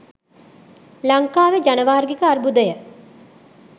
ලංකාවේ ජනවාර්ගික අර්බුදය